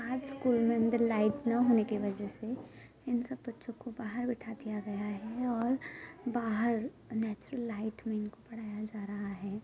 आज स्कूल में अंदर लाइट न होने की वजह से इन सब बच्चों को बाहर बिठा दिया गया है और बाहर नेचुरल लाइट में इनको पढ़ाया जा रहा है।